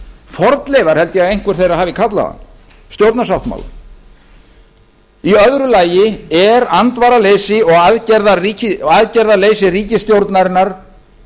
fornleifar held ég að einhver þeirra hafi kallað hann stjórnarsáttmálann í öðru lagi er andvaraleysi og aðgerðaleysi ríkisstjórnarinnar